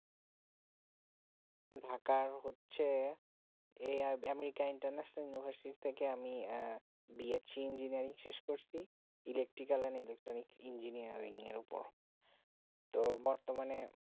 ঢাকার হচ্ছে এ একটা american international university থেকে আমি আহ BSC Engineering শেষ করছি electrical and electronic engineer উপরে তো বর্তমানে